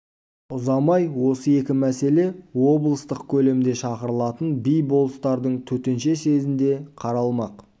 ұзамай осы екі мәселе облыстық көлемде шақырылатын би-болыстардың төтенше съезінде қаралмақ